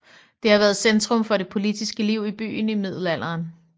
Det har været centrum for det politiske liv i byen i middelalderen